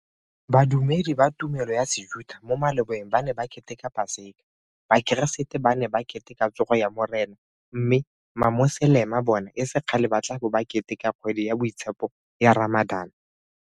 Badumedi ba tumelo ya Sejuta mo malobeng ba ne ba keteka Paseka, Bakeresete ba ne ba Keteka Tsogo ya Morena mme Mamoselema bona e se kgale ba tla bo ba ke teka kgwedi ya boitshepo ya Ramadan.